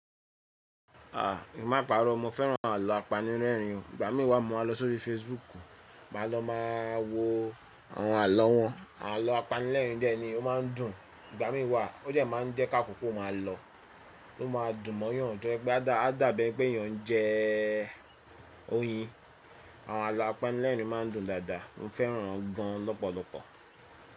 A, èmi máa pàrọ́, mo fẹ́ràn ààlọ́ apanilẹ́ẹ̀rín o. Ìgbà mí wa mo máa lọ sórí Facebook, ma lọ ma wo àwọn ààlọ́ wọn. Ààlọ́ apanilẹ́ẹ̀rín de ni o máa ń dùn. Ìgbà mí wa ó dẹ̀ má ń jẹ́ ká kókó máa lọ, ó ma dùn mọ́yàn to yẹ pé a dà, a dàbí ẹ pé èèyàn ń jẹ oyin. Àwọn ààlọ́ apanilẹ́ẹ̀rín ma ń dùn dáadáa, mo fẹ́ràn wọn gan lọ́pọ̀lọpọ̀.